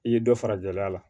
I ye dɔ fara gɛlɛya kan